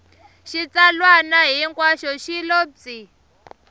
xitsalwana hinkwaxo xi lo pyi